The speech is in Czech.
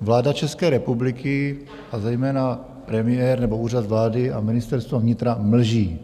vláda České republiky, a zejména premiér nebo Úřad vlády a Ministerstvo vnitra, mlží.